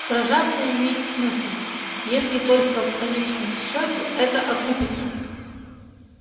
сражаться имеет смысл если только в конечном счёте это окупиться